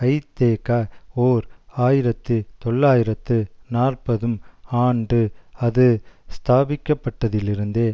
ஐதேக ஓர் ஆயிரத்து தொள்ளாயிரத்து நாற்பதும் ஆண்டு அது ஸ்தாபிக்கப்பட்டதிலிருந்தே